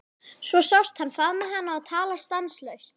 Svo sást hann faðma hana og tala stanslaust.